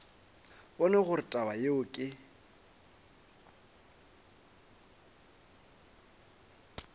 bone gore taba yeo ke